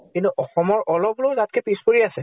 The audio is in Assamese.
কিন্তু অসমৰ অলপ হলেও তাতকে পিছ পৰি আছে।